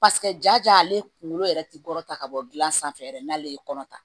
Paseke ja ale kunkolo yɛrɛ ti kɔrɔ ta ka bɔ gilan sanfɛ yɛrɛ n'ale ye kɔnɔ ta